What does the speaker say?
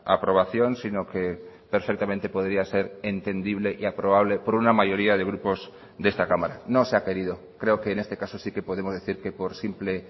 aprobación sino que perfectamente podría ser entendible y aprobable por una mayoría de grupos de esta cámara no se ha querido creo que en este caso sí que podemos decir que por simple